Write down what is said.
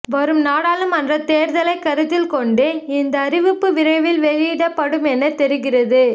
வரும் நாடாளுமன்றத் தேர்தலை கருத்தில் கொண்டு இந்த அறிவிப்பு விரைவில் வெளியிடப்படும் என தெரிகிறது